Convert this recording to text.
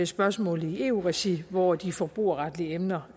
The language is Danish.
spørgsmålet i eu regi hvor de forbrugerretlige emner